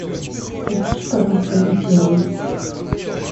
переключи пожалуйста на первый